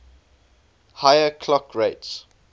higher clock rates